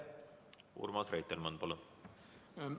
Urmas Reitelmann, palun!